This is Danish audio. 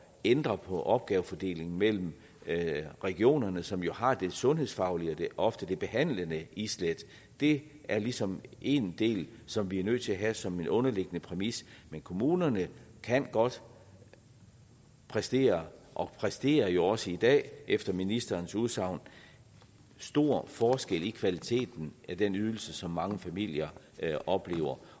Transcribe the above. ændre på opgavefordelingen mellem regionerne som jo har det sundhedsfaglige og ofte behandlende islæt det er ligesom en del som vi er nødt til at have som en underliggende præmis men kommunerne kan godt præstere og præsterer jo også i dag efter ministerens udsagn stor forskel i kvaliteten af den ydelse som mange familier oplever